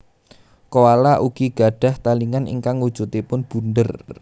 Koala ugi gadhah talingan ingkang wujudipun bunder